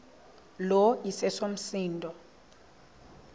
lo iseso msindo